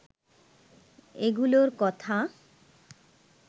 এগুলোর কথা